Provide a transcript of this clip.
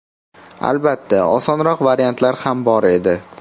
Albatta, osonroq variantlar ham bor edi.